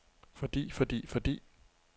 fordi fordi fordi